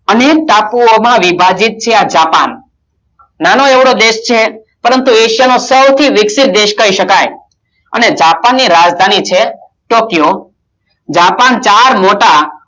અનેક ટાપુઓમાં વિભાજીત છે આ જાપાન નાનકડો દેશ છે પરંતુ એશિયા માં સૌથી વિક્સિત દેશ કહી શકાય અને જાપાન ની રાજધાની છે ટોકિયો, જાપાન ચાર મોટા